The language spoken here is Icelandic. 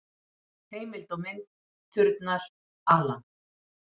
Heimild og mynd: Turnar, Alan.